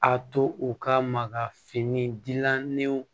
A to u ka maka fini gilannenw